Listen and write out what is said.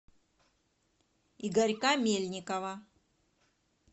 игорька мельникова